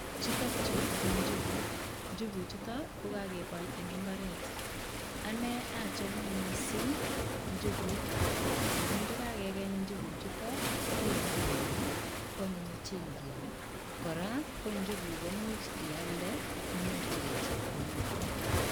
Chuton chu ko njuguk njuguk chuton kokokebol en inbaret ane achame mising njuguk amun ndokokikeng njuguk chuton ikarangan akikarangan koanyin chengium koraa ko njukuk chuton imuch iyalde oki nyorchige chepkondok